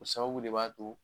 O sababu de b'a to